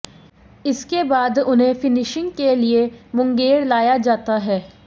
इसके बाद उन्हें फिनिशिंग के लिए मुंगेर लाया जाता है